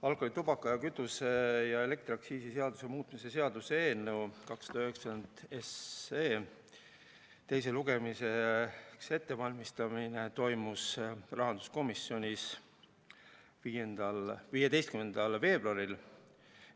Alkoholi‑, tubaka‑, kütuse‑ ja elektriaktsiisi seaduse muutmise seaduse eelnõu 297 teiseks lugemiseks ettevalmistamine toimus rahanduskomisjonis 15. veebruaril.